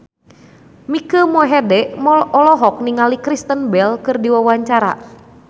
Mike Mohede olohok ningali Kristen Bell keur diwawancara